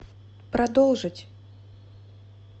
продолжить